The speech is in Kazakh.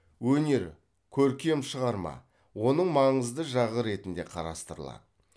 өнер көркем шығарма оның маңызды жағы ретінде қарастырылады